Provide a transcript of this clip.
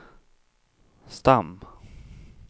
stam